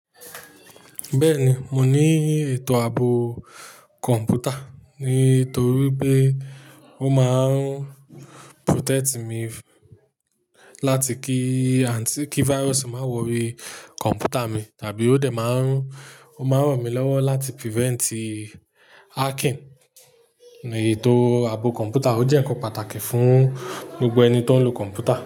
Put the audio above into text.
Bẹ́ẹ̀ni, mo ní ètò ààbò kọ̀mpútà nítorí pé ó máa ń protect mi láti kí anti ki virus má wọrí kọ̀mpútà mi tàbí ó dẹ̀ máa ń, ó máa ràn mí lọ́wọ́ láti prevent hacking. Ètò ààbò kọ̀mpútà ó jẹ́ ǹkan pàtàkì fún gbogbo ẹni tó ń lo kọ̀mpútà.